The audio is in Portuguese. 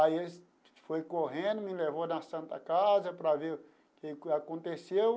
Aí eles foi correndo, me levou na Santa Casa para ver o que aconteceu.